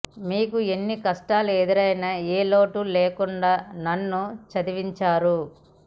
మీకు ఎన్ని కష్టాలు ఎదురైనా ఏ లోటు లేకుండా నన్ను చదివించారు